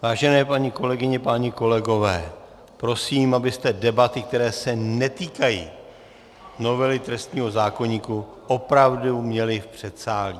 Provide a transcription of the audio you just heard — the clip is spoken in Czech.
Vážené paní kolegyně, páni kolegové, prosím, abyste debaty, které se netýkají novely trestního zákoníku, opravdu měli v předsálí.